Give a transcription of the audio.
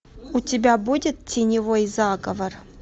у тебя будет теневой заговор